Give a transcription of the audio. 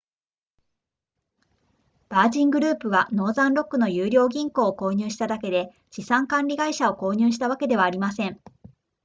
ヴァージングループはノーザンロックの優良銀行を購入しただけで資産管理会社を購入したわけではありません